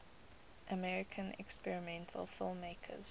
american experimental filmmakers